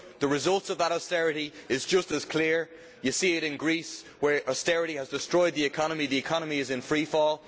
The results of that austerity are just as clear. You can see it in Greece, where austerity has destroyed the economy, which is in freefall.